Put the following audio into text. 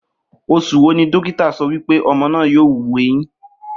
Os̩ù wo ni dókítà so̩ wí pé o̩mo̩ náà yóò wu eyín?